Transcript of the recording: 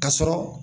Ka sɔrɔ